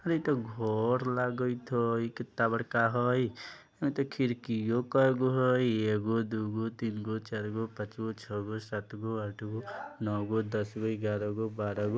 आरए इ ता घर लगायित हई कित्ता बड़का हइ एतो खिरकीओ कई गो हई एगो दूगो तीनगो चारगो पांचगो छगो सातगो आठगो नोगो दसगो ग्यारहगो बारहगो--